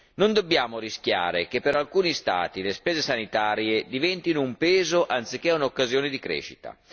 Non dobbiamo rischiare che per alcuni Stati le spese sanitarie diventino un peso anziché un'occasione di crescita.